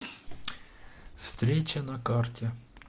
встреча на карте